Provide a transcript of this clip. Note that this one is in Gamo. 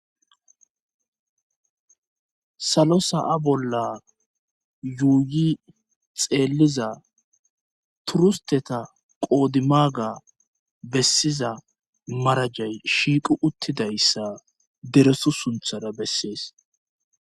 Salo sa7a bolla yuuyi xeeliza turusteta qoodimaaga bessiza marajay shiiqu uttidayssa deresu sunthara bessees